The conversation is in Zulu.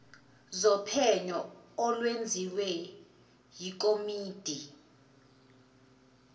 zophenyo olwenziwe yikomidi